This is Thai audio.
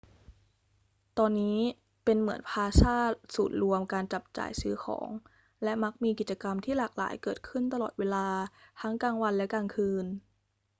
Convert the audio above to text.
ตอนนี้เป็นเหมือนพลาซ่าศูนย์รวมการจับจ่ายซื้อของ และมักมีกิจกรรมที่หลากหลายเกิดขึ้นตลอดเวลาทั้งกลางวันและกลางคืน